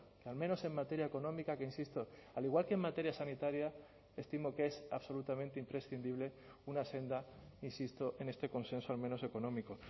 que al menos en materia económica que insisto al igual que en materia sanitaria estimo que es absolutamente imprescindible una senda insisto en este consenso al menos económico